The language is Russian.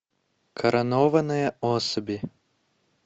коронованные особи